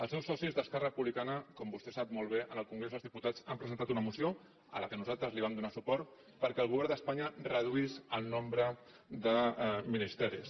els seus socis d’esquerra republicana com vostè sap molt bé en el congrés dels diputats van presentar una moció a la qual nosaltres vam donar suport perquè el govern d’espanya reduís el nombre de ministeris